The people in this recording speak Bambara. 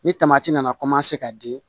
Ni tamati nana ka di